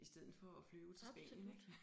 I stedet for at flyve til Spanien ikke